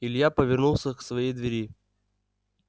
илья повернулся к своей двери